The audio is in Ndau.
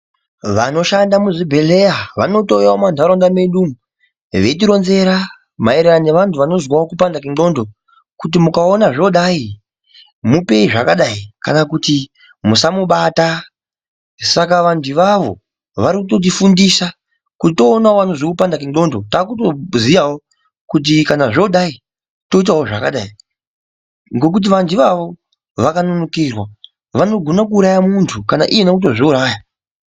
Vanoshanda muzvibhehleya vanotouya mumanharaunda medu umu veitironzera maererano neanhu vanozwawo kupanda kwenxlondo kuti mukaona zvodai mupei zvakadai kana kuti musamubata saka vantu avavo varikutifundisa kuti toonanawo vanozwe kupanda kwenxlondo taakutoziyawo kuti kana zvodai toitawo zvakadai ngokuti vantu ivavo vakanonokera vanokona kutouraya muntu kana iyena kutozviuraya.